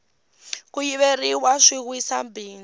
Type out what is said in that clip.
ku yiveriwa swi wisa bindzu